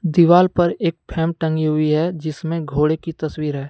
दीवार पे एक फ्रेम तंगी हुई है जिसमें घोड़े की तस्वीर है।